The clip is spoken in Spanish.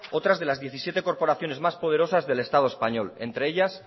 otras de las diecisiete corporaciones más poderosas del estado español entre ellas